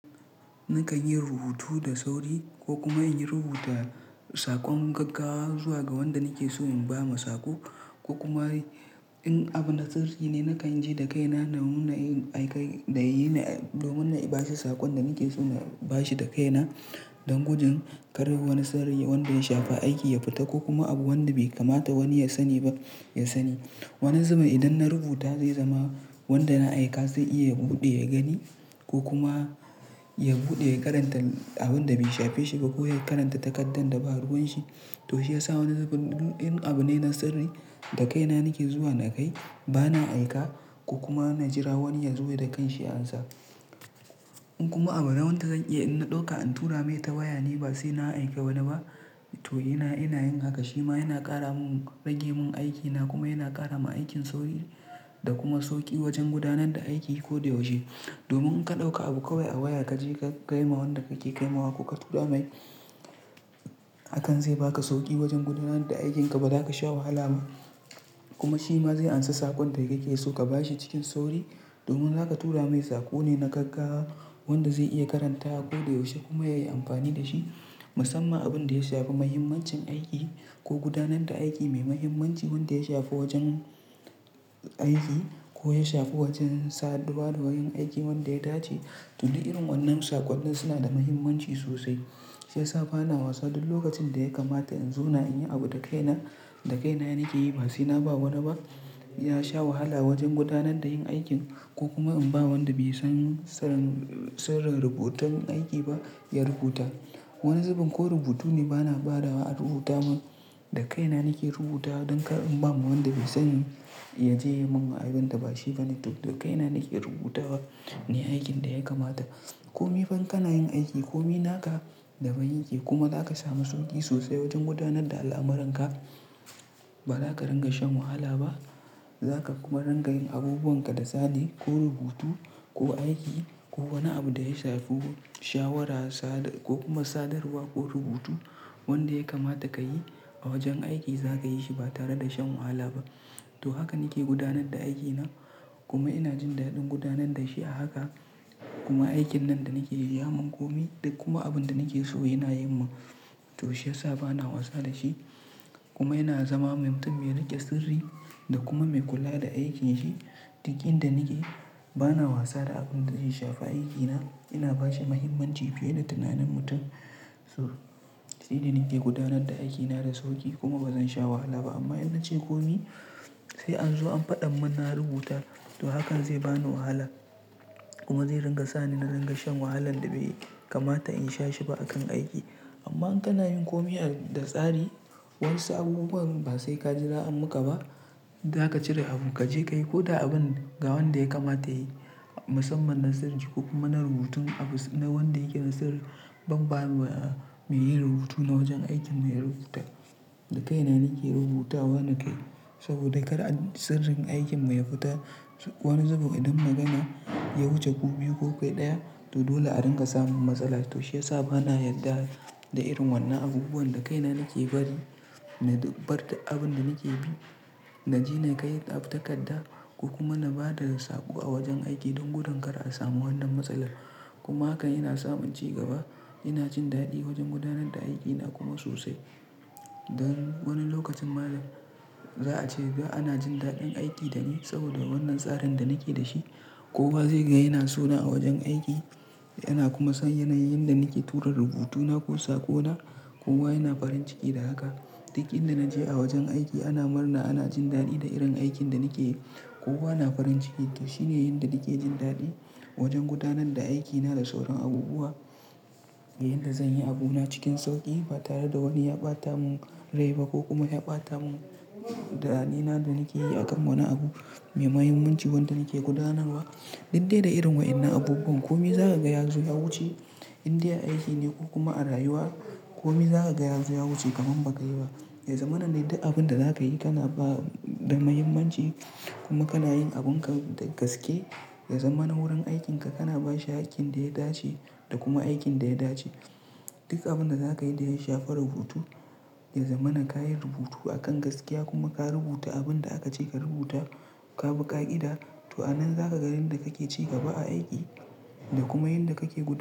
Nakan yi rubutu da sauri ko kuma in yi rubuta sakon gaggawa zuwa ga wanda nake so in ba ma saƙo. Ko kuma in abu na sirri ne nakan ji da kaina da nuna yin, da yin, domin ba saƙon da nake so na ba shi da kaina. Don gujin kar wani tsari wanda ya shafi aiki ya fita ko kuma abu wanda bai kamata wani ya sani ba, ya sani. Wani zabun idan na rubuta zai zama wanda na aika zai iya buɗe ya gani ko kuma ya buɗe ya karanta abun da bai shafe shi ba ko ya karanta takardar da ba ruwan shi. To shi yasa wani zabin in abu ne na sirri, da kaina nake zuwa na kai, bana aika ko kuma na jira wani ya zo ya dakan shi ya amsa. In kuma abu na wanda zan iya in na ɗauka in tura mai ta waya ni ba sai na aika wani ba. To ina, ina yin haka shima yana ƙara mun rage mun aikina kuma yana ƙara ma aikin sauri da kuma sauƙi wajen gudanar da aiki ko da yaushe. Domin in ka ɗauka abu kawai a waya ka je ka kai ma wanda kake kai ma wa ko ka tura mai akan zai baka sauƙi wajen gudanar da aikinka. Ba za ka sha wahala ba kuma shi ma zai amsa sakon da kake so ka ba shi cikin sauri. Domin zaka tura mai saƙo ne na gaggawa wanda zai iya karanta ko da yaushe kuma yayi amfani da shi. Musamman abin da ya shafi muhimmancin aiki ko gudanar da aiki mai muhimmanci wanda ya shafi wajen aiki ko ya shafi wajen saduwa da wurin aiki wanda ya dace. To ni irin wannan sakonnin suna da muhimmanci sosai. Shi yasa bana wasa duk lokacin da ya kamata in zauna in yi abu da kaina, da kaina nike yi ba sai na ba wani ba, ya sha wahala wajen gudanar da yin aikin ko kuma in ba wanda bai san sirrin, sirrin rubutun aiki ba ya rubuta. Wani zubin ko rubutu ne bana bada wa rubuta mun. Da kaina nake rubuta don kar in ba ma wanda bai sani ya je ya yi mun abin da ba shi bane. To, da kaina nake rubutawa ne aikin da ya kamata. Komi fan kana yin aiki komi naka da ban yake kuma za ka samu sauƙi sosai wajen gudanar da al'amuran ka. Ba za ka rinƙa shan wahala ba. Za ka kuma rinƙa yin abubuwan ka da tsari ko rubutu ko aiki ko wani abu da ya shafi shawara sa ko kuma sadarwa ko rubutu. Wanda ya kamata ka yi a wajen aiki za ka yi shi ba tare da shan wahala ba. To haka nake gudanar da aikina kuma ina jin daɗin gudanar da shi a haka. Kuma aikin nan da nake yi ya mun komi da kuma abin da nake so yana yin mun. To shi yasa bana wasa da shi kuma yana zama mai mutum mai riƙe sirri da kuma mai kula da aikinsa. Dik inda da nake bana wasa da abun da zai shafi aikina. Ina ba shi muhimmanci fiye da tunanin mutum. To sai da nake gudanar da aikina da sauƙi kuma bazan sha wahala ba. Amma in nace komi sai an zo an faɗa mun na rubuta. To hakan zai bani wahala kuma zai ringa sa ni na ringa shan wahalan da bai kamata in sha shi ba a kan aiki. Amma in kana yin komi da tsari wayansu abubuwan ba sai ka jira an muka ba. Za ka cire abu kaje kayi ko da abun ga wanda ya kamata yayi. Musamman na sirri ko kuma na rubutun abu na wanda yake na sirri. Ban ba ma mai yin rubutu na wajen aiki mai rubuta. Da kaina nake rubuta wani kai saboda kada sirrin aikin mu ya fita. Wani zubin idan na gama ya wuce ku biyu ko kai ɗaya to dole a ringa samu matsala. To shi yasa bana yarda da irin wannan abubuwan da kaina nake bari. Na bar abun da nake bi na ji na kai takarda kuma na ba da saƙo a wajen aiki don gudin kar a samu wannan matsalar. Kuma haka ina samun cigaba. Ina jin daɗi wajen gudanar da aikina kuma sosai. Don wani lokacin malam za a ce ba ana jin daɗin aiki da ni saboda wannan tsarin da nake da shi. Kowa zai ga yana so na a wajen aiki yana kuma son yanayin da nake tura rubutuna ko saƙona. Kowa yana farin ciki da haka. Dik inda da naje a wajen aiki ana murna ana jin daɗi da irin aikin da nake yi. Kowa na farin ciki to shine yanda nake jin daɗi wajen gudanar da aikina da sauran abubuwa. Yanda zanyi abu na cikin sauƙi ba tare da wani ya ɓata mun rai ba ko kuma ya ɓata mun daɗina da nake yi a kan wani abu mai muhimmanci wanda nake gudanarwa. Did de da irin wa'innan abubuwan komi za ka ga ya zo ya wuce inda aiki ne ko kuma a rayuwa. Komi za ka ga ya zo ya wuce kaman ba kai ba. Yazamana dai duk abun da za ka yi kana ba da muhimmanci kuma kana yin abun ka da gaske. Yazamana wurin aikin ka kana ba shi hakkin da ya dace da kuma aikin da ya dace. Duk abun da za ka yi da ya shafi rubutu. Yazamana ka yi rubutu a kan gaskiya kuma ka rubuta abun da aka ce ka rubuta. Ka bi ƙa'ida. To anan zaka ga inda kake ci gaba a aiki da kuma inda kake gud.